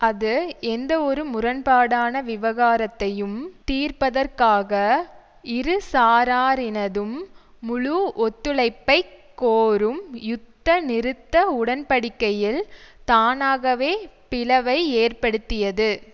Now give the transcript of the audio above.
அது எந்தவொரு முரண்பாடான விவகாரத்தையும் தீர்ப்பதற்காக இரு சாராரினதும் முழு ஒத்துழைப்பை கோரும் யுத்த நிறுத்த உடன்படிக்கையில் தானாகவே பிளவை ஏற்படுத்தியது